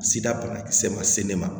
Sida banakisɛ ma se ne ma